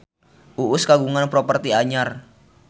Uus kagungan properti anyar